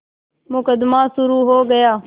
मुकदमा शुरु हो गया